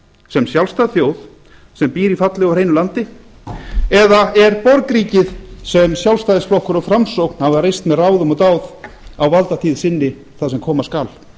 sem sjálfstæð þjóð sem býr í fallegu og hreinu landi eða er borgríkið sem sjálfstæðisflokkur og framsókn hafa reist með ráðum og dáð á valdatíð sinni það sem koma skal